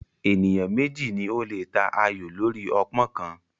Ènìyàn méjì ni ó lè ta ayò lórí ọpọ́n kan